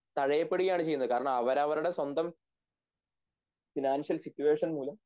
തഴയപ്പെടുകയാണ് ചെയ്യുന്നത് കാരണം അവരവരുടെ സ്വന്തം ഫിനാൻഷ്യൽ സിറ്റുവേഷൻ മൂലം